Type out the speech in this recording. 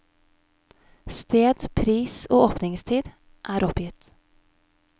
Sted, pris og åpningstid er oppgitt.